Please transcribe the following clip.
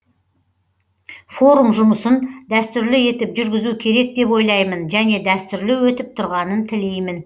форум жұмысын дәстүрлі етіп жүргізу керек деп ойлаймын және дәстүрлі өтіп тұрғанын тілеймін